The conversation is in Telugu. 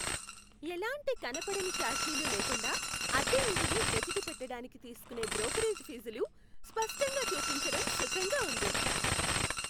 ఎలాంటి కనబడని ఛార్జీలు లేకుండా అద్దె ఇంటిని వెతికి పెట్టడానికి తీసుకునే బ్రోకరేజ్ ఫీజులు స్పష్టంగా చూపించటం సుఖంగా ఉంది.